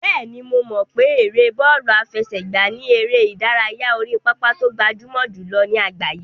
Bẹ́ẹ̀ni, mo mọ̀ pé ère bọ́ọ̀lù àfẹsẹ̀gbá ni eré ìdárayá orí pápá tó gbajúmọ̀ jùlọ ní àgbáyé.